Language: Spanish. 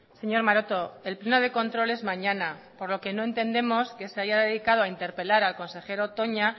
señor maroto el pleno de control es mañana por lo que no entendemos que se haya dedicado a interpelar al consejero toña